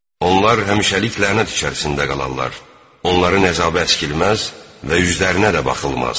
Onlar həmişəlik lənət içərisində qalarlar, onların əzabı əskilməz və üzlərinə də baxılmaz.